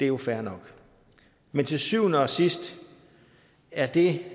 jo fair nok men til syvende og sidst er det